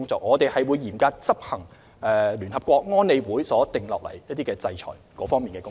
我們會嚴格執行聯合國安理會所訂定的制裁工作。